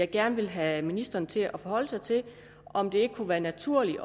gerne vil have ministeren til at forholde sig til er om det ikke kunne være naturligt